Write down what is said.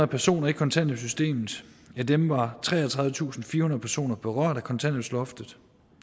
personer i kontanthjælpssystemet af dem var treogtredivetusinde personer berørt af kontanthjælpsloftet